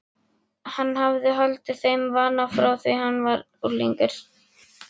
Hann hafði haldið þeim vana frá því hann var unglingur.